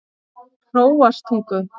Hróarstungu